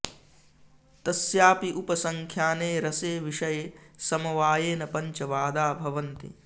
तस्यापि उपसंख़्याने रसे विषये समवायेन पञ्च वादा भवन्ति